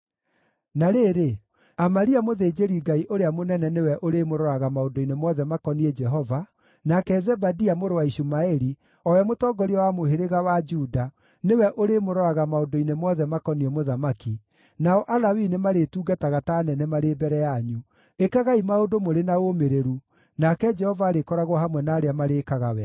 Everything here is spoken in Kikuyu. “Na rĩrĩ, Amaria mũthĩnjĩri-Ngai ũrĩa mũnene nĩwe ũrĩmũroraga maũndũ-inĩ mothe makoniĩ Jehova, nake Zebadia mũrũ wa Ishumaeli, o we mũtongoria wa mũhĩrĩga wa Juda, nĩwe ũrĩmũroraga maũndũ-inĩ mothe makoniĩ mũthamaki, nao Alawii nĩmarĩtungataga ta anene marĩ mbere yanyu. Ĩkagai maũndũ mũrĩ na ũũmĩrĩru, nake Jehova arĩkoragwo hamwe na arĩa marĩĩkaga wega.”